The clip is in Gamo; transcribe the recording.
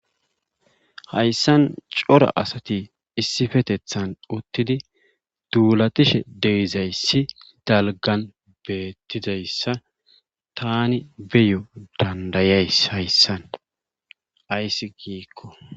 Haysan cora asati issippeteththan utidi duulatishe de'izayssi dalggan beetidayssa tani beiyoo s danda'is hayssan ayssi giiko.